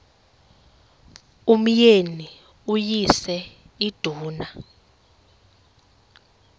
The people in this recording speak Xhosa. umyeni uyise iduna